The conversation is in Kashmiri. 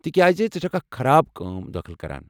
تِکیٚازِ ژٕ چھکھ اکھ خراب کام دٲخل کران۔